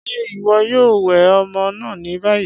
Ṣé iwọ yòò wẹ ọmọ náà ni bayí?